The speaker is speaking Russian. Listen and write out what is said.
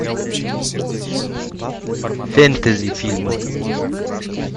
фэнтези фильмы